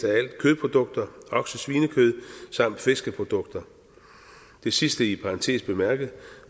alt kødprodukter oksesvinekød samt fiskeprodukter det sidste i parentes bemærket